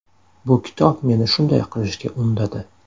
Bu kitob meni shunday qilishga undadi.